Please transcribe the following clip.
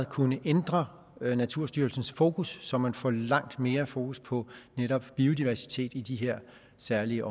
kunne ændre naturstyrelsens fokus så man får langt mere fokus på netop biodiversitet i de her særlige